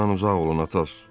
Ondan uzaq olun Atos.